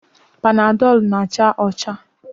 Panadọl na-acha ọcha.